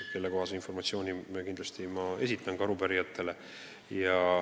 Esitan selle informatsiooni kindlasti ka arupärijatele.